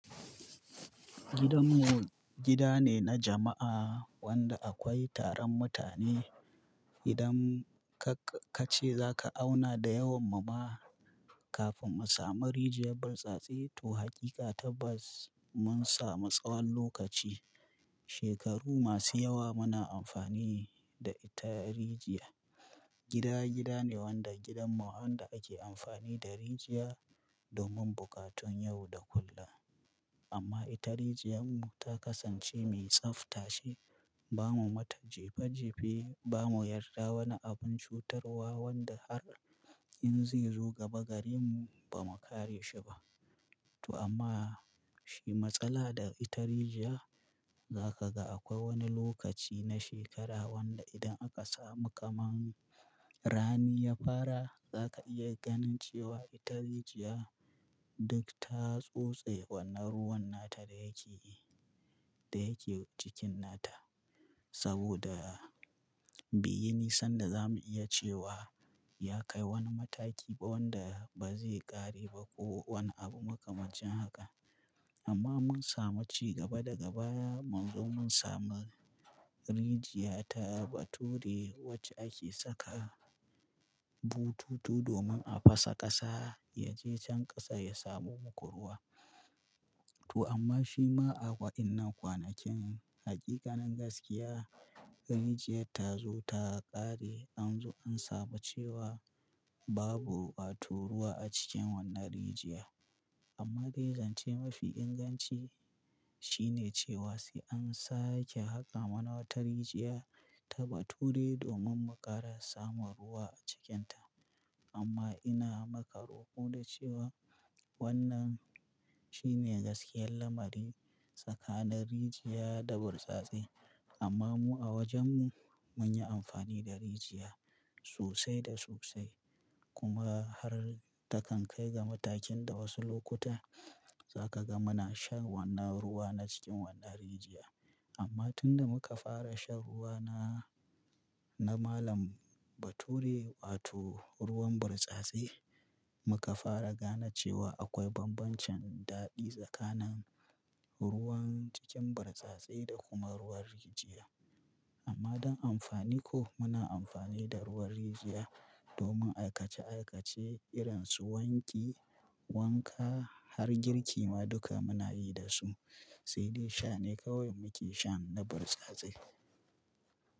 Gidanmu gida ne na jama'a wanda akwai taron mutane. Idan ka-ka ce za ka auna da yawan mu ma, kafin mu sami rijiya bursasai to hakika ta ba s-mun samu tsawon lokaci. Shekaru masu yawa muna amfani da ita rijiya. Gida, gida ne wanda gidanmu wanda ake amfani da rijiya domin bukatun yau da kullum. Amma ita rijiyar mu ta kasance mai tsaftace. Ba mu mata jefa jefe, ba mu yarda wani abun cutarwa wanda har in zai zo gaba garin mu ba mu kare shi ba. To amma shi matsala da ita rijiya, za ka ga akwai wani lokaci na shekara wanda idan aka samu kamar rani ya fara, za ka iya ganin cewa ita rijiya duk ta tsotse wannan ruwan nata da yake, da yake cikin nata. Saboda biyu nisan da za mu iya cewa ya kai wani mataki ba wanda ba zai ƙare ba ko wani abu makamancin haka. Amma mun samu ci gaba da gaba, mun zo mun samu rijiya ta bature wacce ake saka bututu domin a fasa ƙasa ya je can ƙasa ya samu bukuruwa. To amma shi ma akwai ina kwanakin, hakikanin gaskiya, rijiyar ta zo ta ƙare, an zo an samu cewa babu ɓaturuwa a cikin wannan rijiya. Amma ga zance mafi inganci shine cewa sai an sake haka wata rijiya ta bature domin mu ƙara samun ruwa a cikinta. Amma ina makaro ku da cewa wannan shine gaskiyar lamari tsakanin rijiya da bursasai. Amma mu a wajen mu mun yi amfani da rijiya sosai da sosai kuma har ta kan kai ga matakin da wasu lokuta za ka ga muna shan wannan ruwa na cikin wannan rijiya. Amma tun da muka fara shan ruwa na, na malam bature wato ruwan bursasai, muka fara gane cewa akwai bambancen daɗi tsakanin ruwan cikin bursasai da kuma ruwan rijiya. Amma don amfani ko muna amfani da ruwan rijiya domin aikace aikace, irin su wanki, wanka har girki ma duka muna yi da su. Sai dai sha ne kawai muke shan na bursasai.